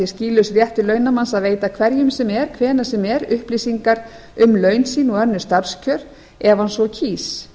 skýlaus réttur launamanns að veita hverjum sem er hvenær sem er upplýsingar um laun sýn og önnur starfskjör ef hann svo kýs